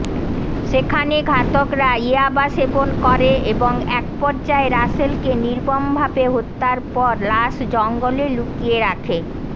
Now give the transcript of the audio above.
সেখানে ঘাতকরা ইয়াবা সেবন করে এবং একপর্যায়ে রাসেলকে নির্মমভাবে হত্যার পর লাশ জঙ্গলে লুকিয়ে রাখে